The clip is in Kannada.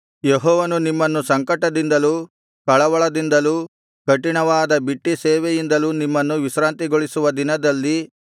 ಯೆಹೋವನು ನಿಮ್ಮನ್ನು ಸಂಕಟದಿಂದಲೂ ಕಳವಳದಿಂದಲೂ ಕಠಿಣವಾದ ಬಿಟ್ಟಿ ಸೇವೆಯಿಂದಲೂ ನಿಮ್ಮನ್ನು ವಿಶ್ರಾಂತಿಗೊಳಿಸುವ ದಿನದಲ್ಲಿ